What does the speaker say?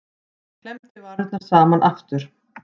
Hann klemmdi varirnar saman aftur.